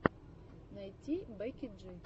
найти бекки джи